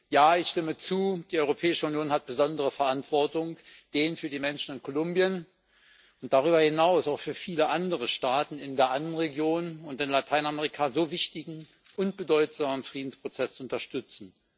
Ja, ich stimme zu, die Europäische Union trägt eine besondere Verantwortung, den für die Menschen in Kolumbien und darüber hinaus auch für viele andere Staaten in der Andenregion und in Lateinamerika so wichtigen und bedeutsamen Friedensprozess zu unterstützen.